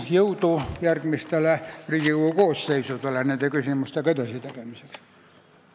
Jõudu järgmistele Riigikogu koosseisudele nende küsimustega edasi tegelemiseks!